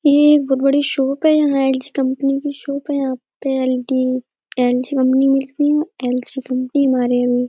ये एक बहोत बड़ी शॉप है यहाँ एल.जी. कंपनी की शॉप है। यहाँ पे एल.डी. कंपनी की मिलती हैं। एल.जी. कंपनी हमारे --